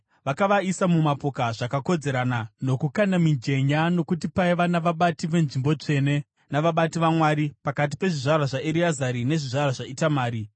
Vakavaisa mumapoka zvakakodzerana, nokukanda mijenya nokuti paiva navabati venzvimbo tsvene navabati vaMwari pakati pezvizvarwa zvaEreazari nezvizvarwa zvaItamari.